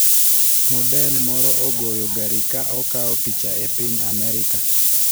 Model moro ogoyo gari ka okawo picha e piny Amerka